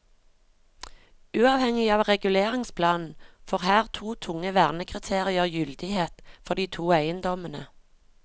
Uavhengig av reguleringsplanen får her to tunge vernekriterier gyldighet for de to eiendommene.